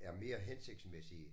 er mere hensigtsmæssige